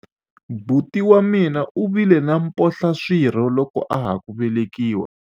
buti wa mina u vile na mphohlaswirho loko a ha ku velekiwa